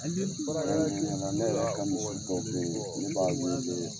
Ne yɛrɛ ka misi dɔw bɛ b'a weele